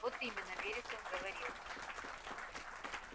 вот именно вересов говорил